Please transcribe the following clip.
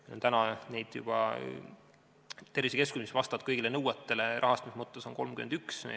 Praegu on meil tervisekeskusi, mis vastavad rahastuse mõttes kõigile nõuetele, 31.